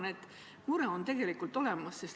Ma arvan, et mure on tõesti olemas.